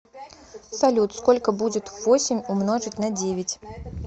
салют сколько будет восемь умножить на девять